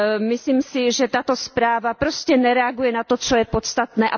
Myslím si, že tato zpráva prostě nereaguje na to, co je podstatné.